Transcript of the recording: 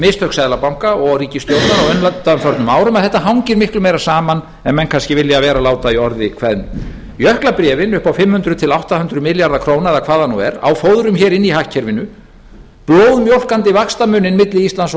mistök seðlabanka og ríkisstjórnar á undanförnum árum að þetta hangir miklu meira saman en menn kannski vilja vera láta í orði kveðnu jöklabréfin upp á fimm hundruð til átta hundruð milljarða króna eða hvað það nú er á fóðrum hér inni í hagkerfinu blóðmjólkandi vaxtamuninn milli íslands